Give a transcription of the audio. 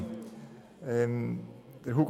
Aeschlimann hat das Wort.